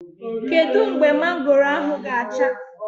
Kedu mgbe mangoro ahụ ga-acha?